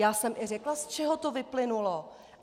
Já jsem i řekla, z čeho to vyplynulo.